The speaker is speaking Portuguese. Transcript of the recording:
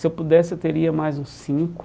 Se eu pudesse, eu teria mais uns cinco.